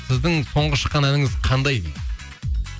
сіздің соңғы шыққан әніңіз қандай дейді